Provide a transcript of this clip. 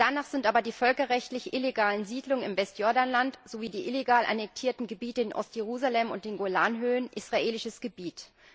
Danach sind aber die völkerrechtlich illegalen Siedlungen im Westjordanland sowie die illegal annektierten Gebiete in Ostjerusalem und den Golanhöhen israelisches Gebiet.